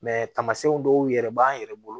tamasiyɛnw dɔw yɛrɛ b'an yɛrɛ bolo